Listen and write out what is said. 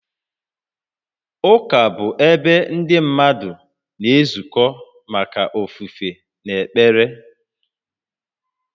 Ụka bụ ebe ndị mmadụ na-ezukọ maka ofufe na ekpere